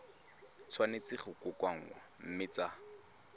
tshwanetse go kokoanngwa mme tsa